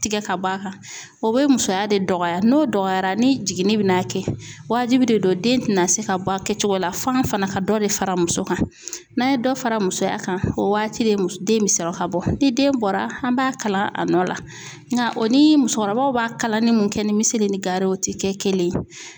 Tigɛ ka b'a kan o bɛ musoya de dɔgɔya n'o dɔgɔyara ni jiginni bɛ n'a kɛ wajibi de don den tɛna se ka bɔ a kɛ cogo la fan fana ka dɔ de fara muso kan n'a ye dɔ fara musoya kan o waati de bɛ sɔrɔ ka bɔ ni den bɔra an b'a kala a nɔ la nka o ni musokɔrɔbaw b'a kala ni mun kɛ ni misi ni gari ye o tɛ kɛ kelen ye.